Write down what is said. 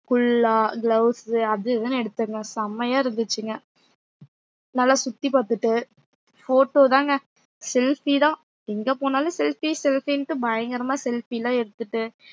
குல்லா gloves அது இதுன்னு எடுத்தங்க செமையா இருந்துச்சுங்க நல்லா சுத்தி பாத்துட்டு photo தாங்க selfie தான் எங்க போனாலும் selfie selfie ன்ட்டு பயங்கரமா selfie லாம் எடுத்துட்டு